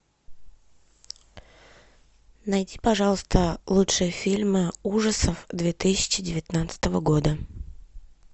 найди пожалуйста лучшие фильмы ужасов две тысячи девятнадцатого года